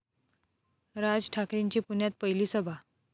राज ठाकरेंची पुण्यात पहिली सभा